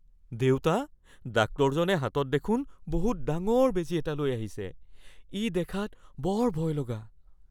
দেউতা, ডাক্তৰজনে হাতত দেখোন বহুত ডাঙৰ বেজী এটা লৈ আহিছে। ই দেখাত বৰ ভয়লগা।